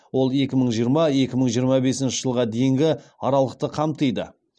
ол екі мың жиырма екі мың жиырма бесінші жылға дейінгі аралықты қамтиды